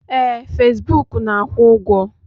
Ee, fesbụụk na-akwụ ụgwọ.